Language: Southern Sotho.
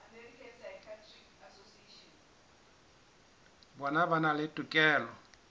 bona ba na le tokelo